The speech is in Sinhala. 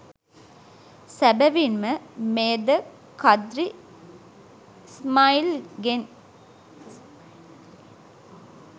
සැබැවින්ම මෙයද කද්රි ඉස්මායිල්ගෙන්